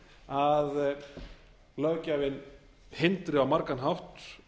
að löggjafinn hindri á margan hátt